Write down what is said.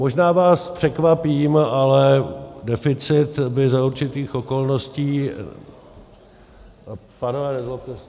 Možná vás překvapím, ale deficit by za určitých okolností - pánové nezlobte se...